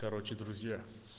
короче друзья